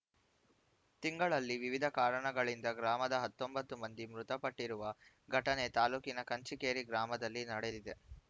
ತಿಂಗಳಲ್ಲಿ ವಿವಿಧ ಕಾರಣಗಳಿಂದ ಗ್ರಾಮದ ಹತ್ತೊಂಬತ್ತು ಮಂದಿ ಮೃತಪಟ್ಟಿರುವ ಘಟನೆ ತಾಲೂಕಿನ ಕಂಚಿಕೇರಿ ಗ್ರಾಮದಲ್ಲಿ ನಡೆದಿದೆ